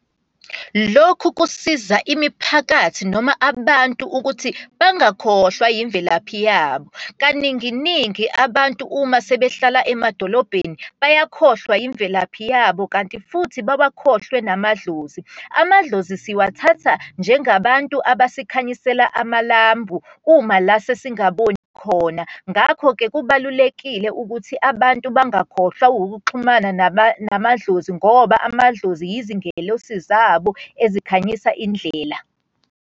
Lokhu kusiza imiphakathi noma abantu ukuthi bangakhohlwa yimvelaphi yabo. Kaninginingi abantu uma sebehlala emadolobheni bayakhohlwa yimvelaphi yabo, kanti futhi bawakhohlwe namadlozi. Amadlozi siwathatha njengabantu abasekhayisela amalambu uma la sesingaboni khona. Ngakho-ke kubalulekile ukuthi abantu bangakhohlwa ukuxhumana namadlozi, ngoba amadlozi izingelosi zabo ezikhanyisa indlela.